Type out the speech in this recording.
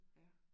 Ja